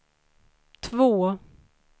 två